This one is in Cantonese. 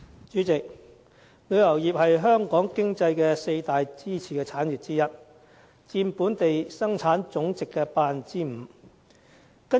主席，旅遊業是香港經濟四大支柱產業之一，佔本地生產總值的 5%。